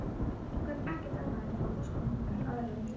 Hún gat ekki annað en vorkennt honum í aðra röndina.